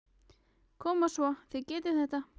Koma svo, þið getið þetta!